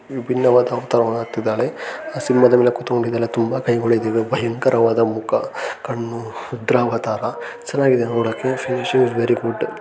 ಭಿನ್ನವಾದ ಅವತಾರವನ್ನು ಹೊತ್ತಿದಾಳೆ ಸಿಂಹದ ಮೇಲೆ ಕುಂತ್ಕೊಂಡಿದ್ದಾಳೆ ತುಂಬಾ ಕೈಗಳಿದ್ದಾವೆ ಭಯಂಕರವಾದ ಮುಖ ಕಣ್ಣು ರುದ್ರಾವತಾರ ಚೆನ್ನಾಗಿದೆ ನೋಡೋಕೆ ಶಿ ಐಸ್ ‌ ವೆರಿ ಗುಡ್ .